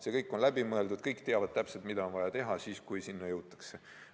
See kõik on läbi mõeldud, kõik teavad täpselt, mida on vaja teha, kui teatud olukorda jõutakse.